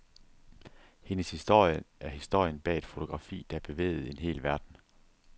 Hendes historie er historien bag et fotografi, der bevægede en hel verden.